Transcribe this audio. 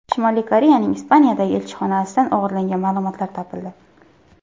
Shimoliy Koreyaning Ispaniyadagi elchixonasidan o‘g‘irlangan ma’lumotlar topildi.